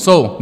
Jsou.